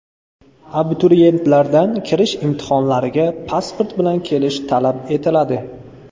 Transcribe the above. Abituriyentlardan kirish imtihonlariga pasport bilan kelish talab etiladi.